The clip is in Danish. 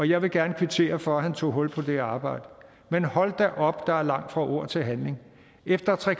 jeg vil gerne kvittere for at han tog hul på det arbejde men hold da op der er langt fra ord til handling efter tre